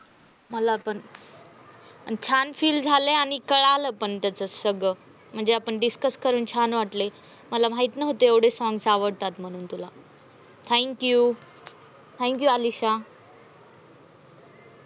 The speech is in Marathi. मला पण छान feel झाले, आणि कळाल पण त्याच सगळ. म्हणजे discuss करून छान वाटल मला. माहित नव्हतं एवडे songs तुला आवडतात म्हनुन तुला. thank you, thank you Alisha.